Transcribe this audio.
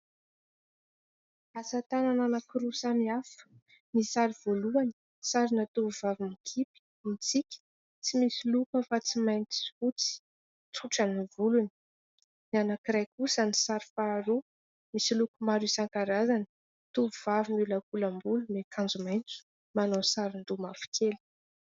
Asa- tanana anankiroa samy hafa : ny sary voalohany sarina tovovavy mikipy, mitsiky, tsy misy loko afa-tsy mainty sy fotsy, tsotra ny volony ; ny anankiray kosa ny sary faharoa, misy loko maro isan-karazany, tovovavy miolakolam-bolo miakanjo maintso manao sarin-doha mavokely.